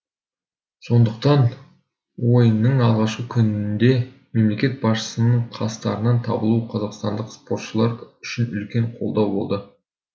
сондықтан ойынның алғашқы күнінде мемлекет басшысының қастарынан табылуы қазақстандық спортшылар үшін үлкен қолдау болды